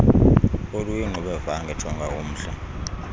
oluyingxubevange jonga umhl